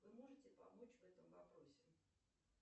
вы можете помочь в этом вопросе